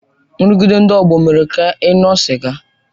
Nrụgide ndị ọgbọ ọ mere ka ị ṅụọ sịga?